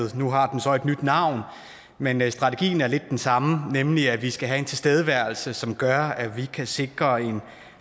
et nu har den så et nyt navn men men strategien er lidt den samme nemlig at vi skal have en tilstedeværelse som gør at vi kan sikre en